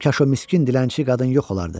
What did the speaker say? Kaş o miskin dilənçi qadın yox olardı.